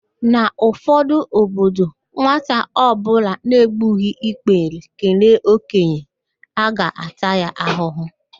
N'ụfọdụ obodo, nwata ọbụla na-egbughi ikpere kelee okenye, a ga-ata ya ahụhụ